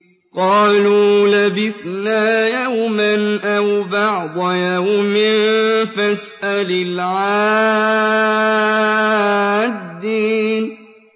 قَالُوا لَبِثْنَا يَوْمًا أَوْ بَعْضَ يَوْمٍ فَاسْأَلِ الْعَادِّينَ